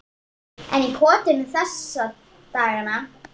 Einn í kotinu þessa dagana.